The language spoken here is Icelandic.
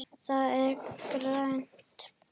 Það er grænt.